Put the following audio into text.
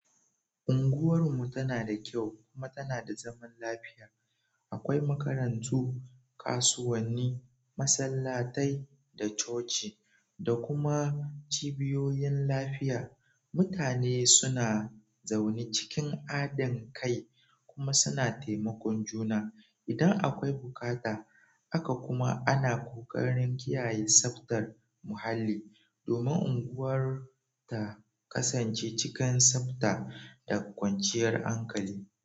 Unguwar mu tana da kyau kuma tana da zaman lafiya. Akwai makarantu, kasuwanni, masallatai da coci da kuma cibiyoyin lafiya. Mutane suna zaune cikin hadin kai kuma suna taimakon juna idan akwai bukata. Haka kuma ana kokarin kiyaye tsaftar muhalli domin unguwar ta kasance cikin tsafta da kwanciyar hankali.